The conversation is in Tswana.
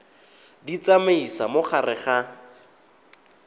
di tsamaisa mo gare ga